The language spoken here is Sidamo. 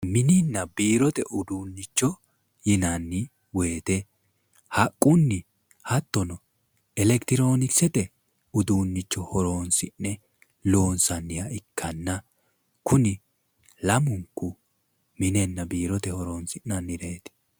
Mininna biirote uduunnicho yinanni woyite haqqunni hattono elekitirokisete uduunnicho horoonsi'ne loonsanniha ikkanna kuni lamunku minenna biirote horoonsi'nannireeti